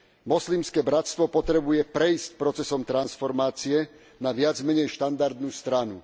Moslimské bratstvo potrebuje prejsť procesom transformácie na viac menej štandardnú stranu.